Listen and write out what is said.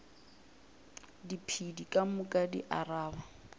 diphedi ka moka di araba